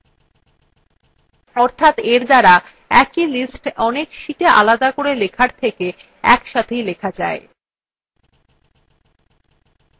অর্থাৎ এর দ্বারা একই list অনেক listআলাদা করে লেখার থেকে একসাথেই লেখা যায়